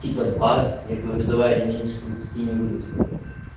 типа двадцать я говорю давай я меньше тридцати не выйду с тобой